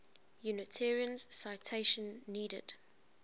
unitarians citation needed